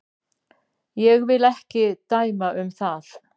Ég vil ekki dæma um það.